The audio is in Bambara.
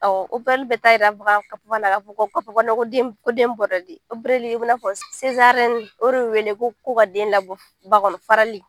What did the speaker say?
Awɔ opereli bɛ taa yira o de wele ko ka den labɔ ba kɔnɔ, farali